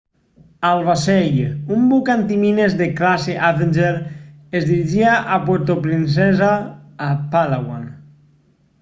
el vaixell un buc antimines de classe avenger es dirigia a puerto princesa a palawan